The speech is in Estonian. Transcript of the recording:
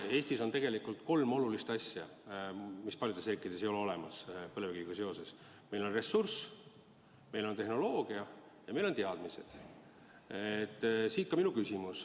Eestis on põlevkiviga seoses kolm olulist asja, mida paljudes riikides ei ole: meil on ressurss, meil on tehnoloogia ja meil on teadmised.